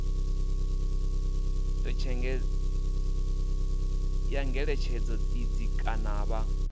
ya ngeletshedzo idzi kana vha